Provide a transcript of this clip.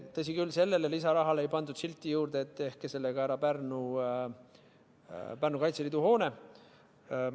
Tõsi küll, sellele lisarahale ei pandud silti juurde, et tehke sellega ära Pärnu Kaitseliidu hoone.